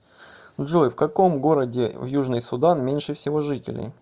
джой в каком городе в южный судан меньше всего жителей